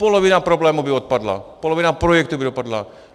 Polovina problémů by odpadla, polovina projektů by odpadla.